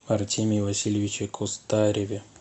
артемии васильевиче костареве